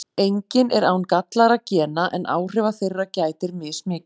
Enginn er án gallaðra gena en áhrifa þeirra gætir mismikið.